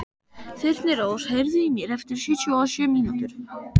Þyrnirós, heyrðu í mér eftir sjötíu og sjö mínútur.